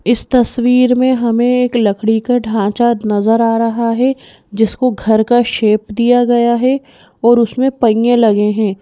इस तस्वीर में हमें एक लकड़ी का ढांचा नजर आ रहा है जिसको घर का शेप दिया गया है और उसमें पहिए लगे हैं।